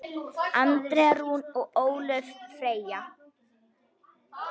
Andrea Rún og Ólöf Freyja.